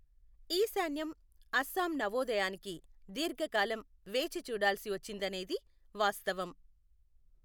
ఈశాన్యం, అస్సాం నవోదయానికి దీర్ఘ కాలం వేచి చూడాల్సి వచ్చిందనేది వాస్తవం.